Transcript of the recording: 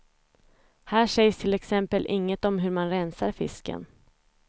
Här sägs till exempel inget om hur man rensar fisken.